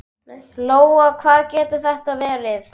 Lóa: Hvað getur þetta verið?